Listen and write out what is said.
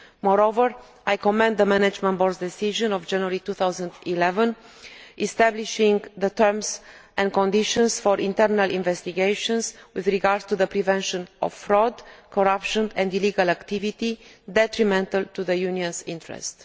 Moreover, I commend the Management Board's decision of January 2011 establishing the terms and conditions for internal investigations with regard to the prevention of fraud, corruption and illegal activity detrimental to the Union's interest.